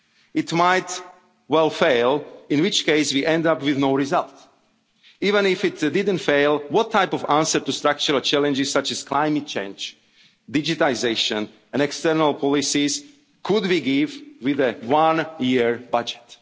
budget soon. It might well fail, in which case we end up with no result. Even if it didn't fail, what type of answer to structural challenges such as climate change, digitisation and external policies could we give with a